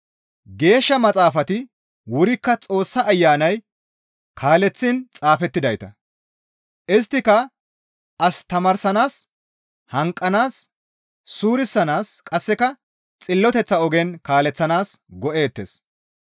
Geeshsha Maxaafati wurikka Xoossa Ayanay kaaleththiin xaafettidayta; isttika as tamaarsanaas, hanqanaas, suurisanaas qasseka xilloteththa ogen kaaleththanaas go7eettes.